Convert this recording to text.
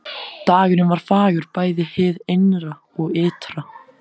Dagurinn var fagur bæði hið innra og ytra.